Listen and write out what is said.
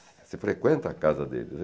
Você frequenta a casa deles?